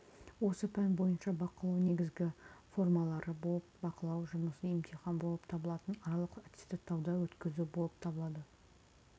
осы пән бойынша бақылау негізгі формалары болып бақылау жұмысы емтихан болып табылатын аралық аттестаттауды өткізу болып табылады